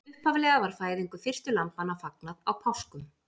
Upphaflega var fæðingu fyrstu lambanna fagnað á páskum.